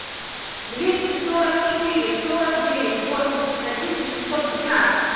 двести сорок четыре сорок девять восемьдесят один восемьсот двенадцать